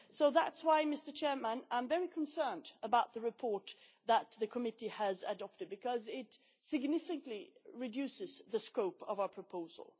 That is why I am very concerned about the report that the committee has adopted because it significantly reduces the scope of our proposal.